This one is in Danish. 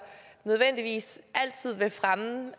nødvendigvis altid vil fremme